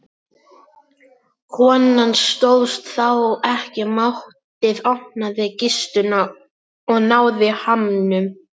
Konan stóðst þá ekki mátið, opnaði kistuna og náði hamnum.